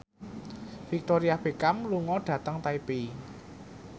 Victoria Beckham lunga dhateng Taipei